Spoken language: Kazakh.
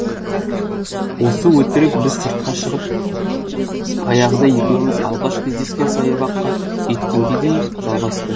осы өтірік біз сыртқа шығып баяғыда екеуміз алғаш кездескен саябаққа жеткенге дейін жалғасты